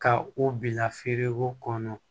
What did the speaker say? Ka u bila feereko kɔnɔ